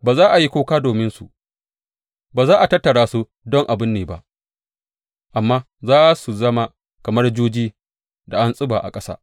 Ba za a yi kuka dominsu, ba za a tattara su don a binne ba, amma za su zama kamar juji da an tsiba a ƙasa.